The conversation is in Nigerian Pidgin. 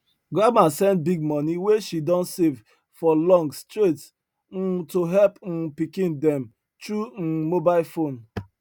grandma send big money wey she don save for long straight um to her um pikin dem through um mobile phone